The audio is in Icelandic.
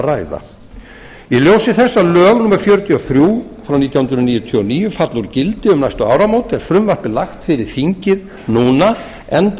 ræða í ljósi þess að lög númer fjörutíu og þrjú nítján hundruð níutíu og níu falla úr gildi um næstu áramót er frumvarpið lagt fyrir þingið núna enda